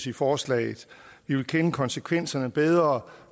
i forslaget vi vil kende konsekvenserne bedre